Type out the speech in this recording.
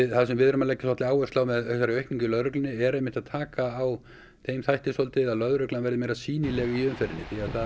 það sem við erum að leggja áherslu á með þessari aukningu í lögreglunni er einmitt að taka á þeim þætti að lögreglan verði meiri sýnilegri í umferðinni því